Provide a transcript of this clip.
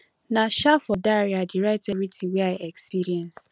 na um for diary i dey write everytin wey i experience